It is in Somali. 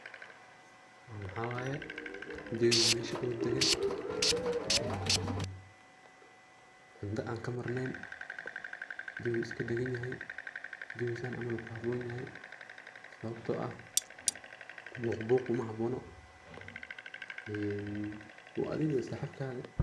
Mxa waye jawiga oo mesha oo degan oo cunta an ka marnayn. Jawiga wuu iska dagan yahay ,jawiga san camal uu ku habon yahay ,sababto ah buuq buuq kumahabono ee waa adiga iyo saxibkadhi.